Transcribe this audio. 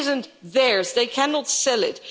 It isn't theirs, they cannot sell it.